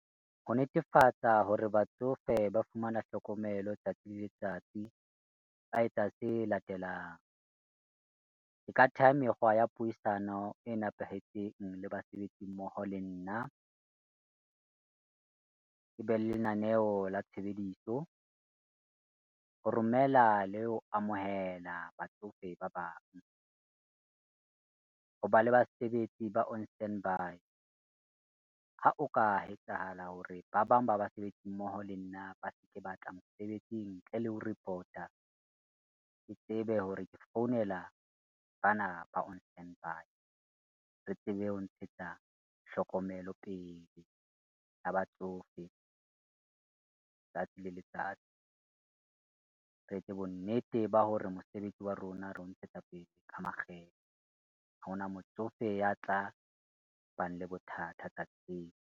Ho netefatsa hore batsofe ba fumana hlokomelo tsatsi le letsatsi ba etsa se latelang, re ka theha mekgwa ya puisano e nepahetseng le basebetsi mmoho le nna, ke be le lenaneo la tshebediso, ho romela le ho amohela batsofe ba bang, ho ba le basebetsi ba on standby. Ha o ka etsahala hore ba bang ba basebetsi mmoho le nna ba se ke batla mosebetsing ntle le ho report-a, ke tsebe hore ke founela bana ba on standby, re tsebe ho ntshetsa hlokomelo pele ya batsofe tsatsi le letsatsi. Re etse bonnete ba hore mosebetsi wa rona re o ntshetsa pele ka makgethe, ha ho na motsofe ya tla bang le bothata tseo.